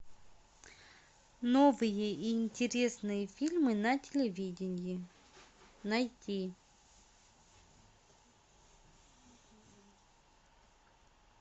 новые интересные фильмы на телевидении найти